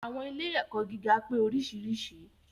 Àwọn ilé ẹ̀kọ́ gíga pé oríṣiríṣi.